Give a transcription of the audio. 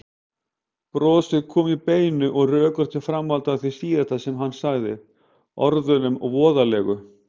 Brosið kom í beinu og rökréttu framhaldi af því síðasta sem hann sagði, orðunum voðalegu.